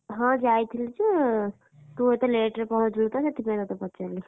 ହଁ ଯାଇଥିଲି ଯେ, ତୁ ଏତେ late ରେ ପହଞ୍ଚିଲୁତ ସେଥିପାଇଁ ତତେ ପଚାରିଲି।